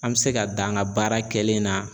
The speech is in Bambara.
An bɛ se ka dan an ka baara kɛlen na